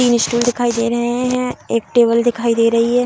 तीन स्टूल दिखाई दे रहे हैं एक टेबल दिखाई दे रही है।